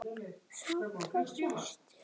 Sandra systir.